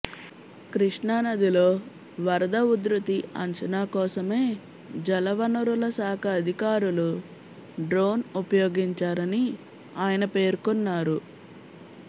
కృష్ణానదిలో వరద ఉధృతి అంచనా కోసమే జలవనరుల శాఖ అధికారులు డ్రోన్ ఉపయోగించారని ఆయన పేర్కొన్నారు